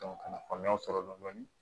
ka faamuya sɔrɔ dɔni dɔni